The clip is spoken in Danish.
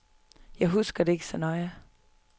Jeg husker det ikke så nøje.